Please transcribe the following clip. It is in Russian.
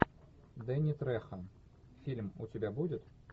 дэнни трехо фильм у тебя будет